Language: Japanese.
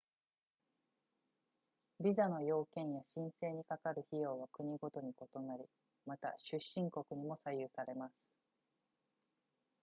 ビザの要件や申請にかかる費用は国ごとに異なりまた出身国にも左右されます